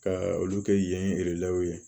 Ka olu kɛ yen